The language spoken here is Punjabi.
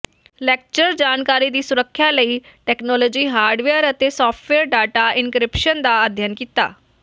ਲੈਕਚਰ ਜਾਣਕਾਰੀ ਦੀ ਸੁਰੱਖਿਆ ਲਈ ਤਕਨਾਲੋਜੀ ਹਾਰਡਵੇਅਰ ਅਤੇ ਸਾਫਟਵੇਅਰ ਡਾਟਾ ਇਨਕ੍ਰਿਪਸ਼ਨ ਦਾ ਅਧਿਐਨ ਕੀਤਾ